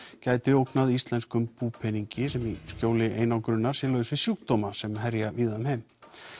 gæti ógnað íslenskum búpeningi sem í skjóli einangrunar sé laus við sjúkdóma sem herja víða um heim